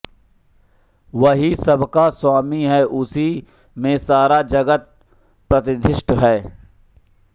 वही सबका स्वामी है उसी में सारा जगत प्रतिष्ठित है